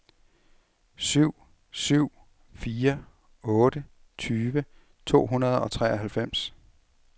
syv syv fire otte tyve to hundrede og treoghalvfems